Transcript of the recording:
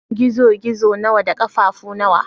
Gizo-gizo na da ƙafafu nawa?